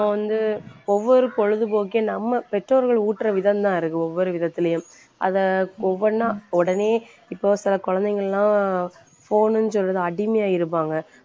நம்ம வந்து ஒவ்வொரு பொழுதுபோக்கே நம்ம பெற்றோர்கள் ஊட்டுற விதந்தான் இருக்கு ஒவ்வொரு விதத்துலயும் அதை ஒவ்வொன்னா உடனே இப்போ சில குழந்தைங்கலாம் phone ன்னு சொல்லுது அடிமையா இருப்பாங்க